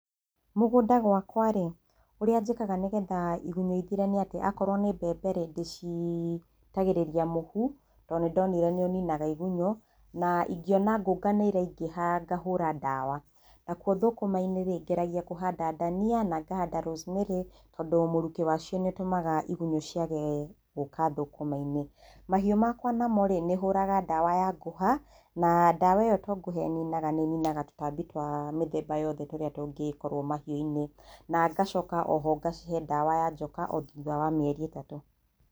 Mũgũnda gwakwa rĩ, ũrĩa njĩkaga nĩgetha igunyũ ithire nĩ atĩ akorwo nĩ mbemberĩ ndĩcitagĩrĩria mũhu to nĩndonire nĩ ũninaga igunyũ na ingĩona ngũnga nĩ iraingĩha ngahũra ndawa. Nakwo thũkũma-inĩ rĩ, ngeragia kũhanda ndania na ngahanda rosemary tondũ mũrũkĩ wacio nĩ ũtũmaga igunyũ ciage gũũka thũkũma-inĩ. Mahiũ makwa namorĩ, nĩ hũraga ndawa ya ngũha na ndawa ĩyo to ngũha ĩninaga nĩ ĩninaga tũtambi twa mĩthemba yothe tũrĩa tũngĩkorwo mahiũ-inĩ. Nangacoka oho ngacihe ndawa ya njoka o thutha wa mĩeri ĩtatũ.